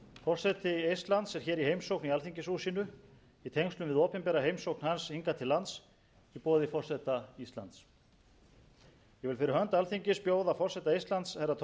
forseti eistlands er í heimsókn í alþingishúsinu í tengslum við opinbera heimsókn hans hingað til lands í boði forseta íslands ég vil fyrir hönd alþingis bjóða forseta eistlands herra toomas hendrik ilves